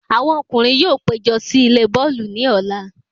Àwọn ọkùnrin yóò pé jọ sí ilé bọ́ọ̀lù ní Ọ̀la